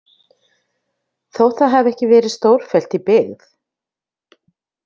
Þótt það hafi ekki verið stórfellt í byggð.